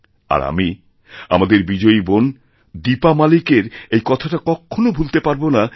আর আমি আমাদের বিজয়ীবোন দীপা মালিকের এই কথাটা কখনও ভুলতে পারব না